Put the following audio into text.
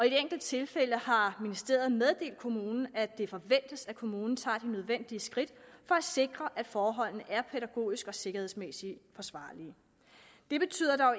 et enkelt tilfælde har ministeriet meddelt kommunen at det forventes at kommunen tager de nødvendige skridt for at sikre at forholdene er pædagogisk og sikkerhedsmæssigt forsvarlige det betyder dog